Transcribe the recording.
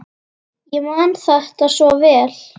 Ég man þetta svo vel.